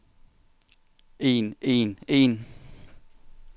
en en en